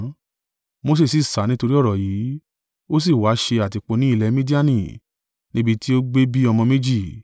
Mose sì sá nítorí ọ̀rọ̀ yìí, ó sì wa ṣe àtìpó ni ilẹ̀ Midiani, níbi tí ó gbé bí ọmọ méjì.